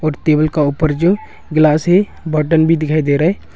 Table का ऊपर जो ग्लास है बटन भी दिखाई दे रहा है।